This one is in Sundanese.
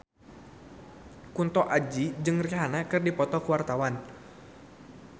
Kunto Aji jeung Rihanna keur dipoto ku wartawan